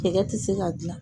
tɛ se ka dilan